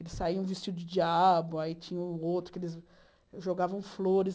Eles saíam vestidos de diabo, aí tinha o outro, que eles jogavam flores.